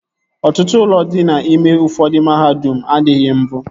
Ọtụtụ ụlọ dị n'ime ụfọdụ mahadum adịghị mbụ